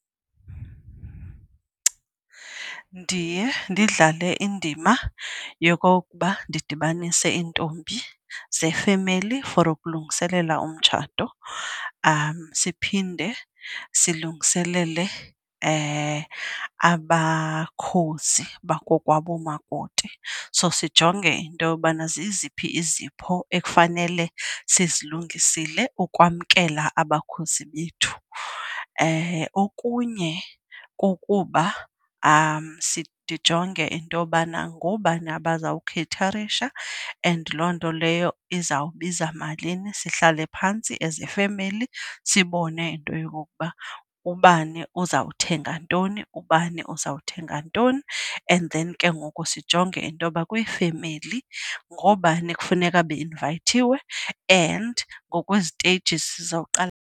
Ndiye ndidlale indima yokokuba ndidibanise iintombi zefemeli for ukulungiselela umtshato. Siphinde silungiselele abakhozi bakokwabomakoti, so sijonge into yobana ziziphi izipho ekufanele sizilungisile ukwamkela abakhozi bethu. Okunye kukuba ndijonge into yobana ngoobani abazawukheyitharisha and loo nto leyo iza kubiza malini sihlale phantsi as ifemeli sibone into yokokuba ubani uzawuthenga ntoni, ubani uzawuthenga ntoni. And then ke ngoku sijonge intoba kwifemeli ngoobani ekufuneka beinvayithiwe and ngokweziteyijizi sizoqala.